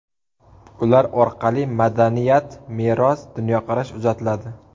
Ular orqali madaniyat, meros, dunyoqarash uzatiladi.